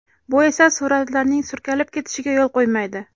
Bu esa suratlarning surkalib ketishiga yo‘l qo‘ymaydi.